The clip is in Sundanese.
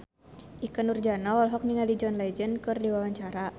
Ikke Nurjanah olohok ningali John Legend keur diwawancara